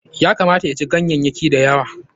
Ya kamata ya ci ganyayyaki da yawa.